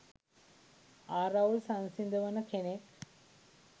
ආරවුල් සංසිඳවන කෙනෙක්